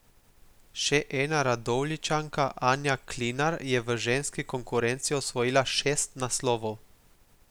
Še ena Radovljičanka Anja Klinar je v ženski konkurenci osvojila šest naslovov.